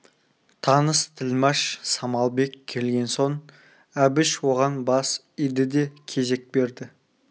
таныс тілмаш самалбек келген соң әбіш оған бас иді де кезек берді